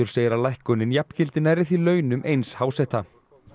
segir að lækkunin jafngildi nærri því launum eins háseta